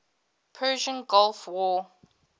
persian gulf war